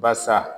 Basa